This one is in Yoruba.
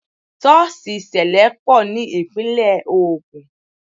Sọ́ọ̀sì sẹlẹ pọ̀ ní Ìpínlẹ̀ Ogun